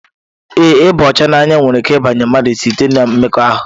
Ee ịba ọcha n'anya nwere ike ịbanye mmadụ ahụ site-na mmekọahụ.